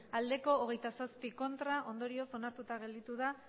ez hogeita zazpi ondorioz onartuta gelditu da